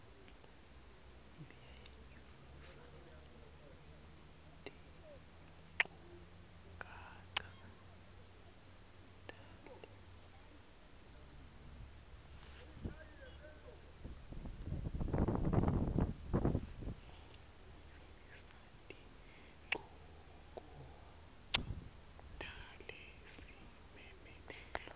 uyavisisa tinchukaca talesimemetelo